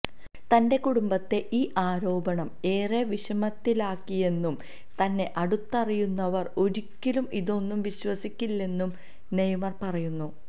തന്റെ കുടുംബത്തെ ഈ ആരോപണം ഏറെ വിഷമത്തിലാക്കിയെന്നും തന്നെ അടുത്തറിയുന്നവര് ഒരിക്കലും ഇതൊന്നും വിശ്വസിക്കില്ലെന്നും നെയ്മര് പറയുന്നു